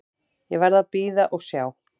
Ég verð að bíða og sjá.